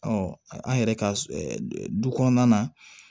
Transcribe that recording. an yɛrɛ ka du kɔnɔna na